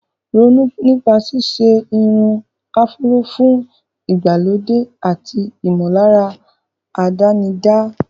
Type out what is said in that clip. Ronú nípa ṣíṣe irun áfúró fún ìgbàlódé àti ìmọ̀lára àdánidá.